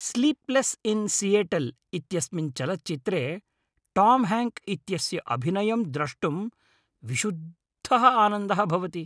Sleepless in Seattle इत्यस्मिन् चलच्चित्रे Tom Hank इत्यस्य अभिनयं द्रष्टुं विशुद्धः आनन्दः भवति।